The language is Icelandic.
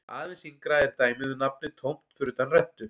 Aðeins yngra er dæmið um nafnið tómt fyrir utan rentu.